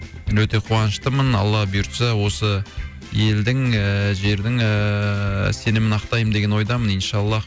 мен өте қуаныштымын алла бұйыртса осы елдің ііі жердің ііі сенімін ақтаймын деген ойдамын иншаллах